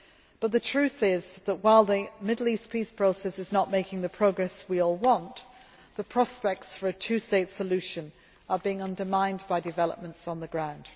Gaza. But the truth is that while the Middle East peace process is not making the progress we all want, the prospects for a two state solution are being undermined by developments on the ground.